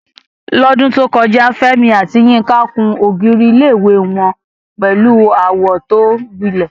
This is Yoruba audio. Lọ́dún tó kọjá, Fẹ́mi àti Yinka kùn ògiri ilé-ìwé wọn pẹ̀lú àwọ̀ tí ó gbilẹ̀.